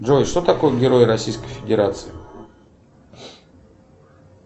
джой что такое герой российской федерации